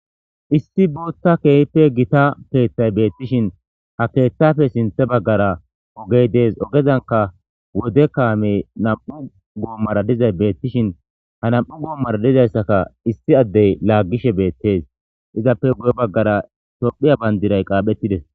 issi bootta keehppe gita keeththay beettishin ha keeththafe sinthe baggara ogey dees ogezanka wode kaamey nam"u goommara dizay beettishin ha nam"u goommara dizayssaka issi addey laaggishe beettes izappe guye baggara tophiya bayndiray qaaphettides.